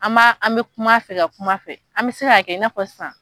An b'a an bɛ kuma a fɛ ka kuma a fɛ an bɛ se ka kɛ i n'a fɔ sisan.